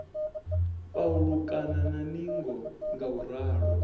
pa ulukana na ningo ngauralo